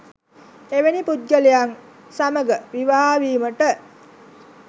එවැනි පුද්ගලයන් සමඟ විවාහ වීමට